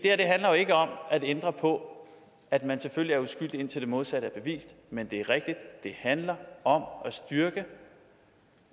handler jo ikke om at ændre på at man selvfølgelig er uskyldig indtil det modsatte er bevist men det er rigtigt at det handler om